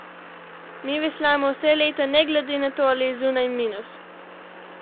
Mi veslamo vse leto, ne glede na to, ali je zunaj minus.